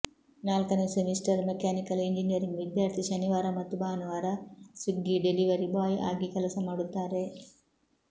ನಾಲ್ಕನೇ semester mechanical engineering ವಿದ್ಯಾರ್ಥಿ ಶನಿವಾರ ಮತ್ತು ಭಾನುವಾರ ಸ್ವಿಗ್ಗಿ ಡೆಲಿವರಿ ಬಾಯ್ ಆಗಿ ಕೆಲಸ ಮಾಡುತ್ತಾರೆ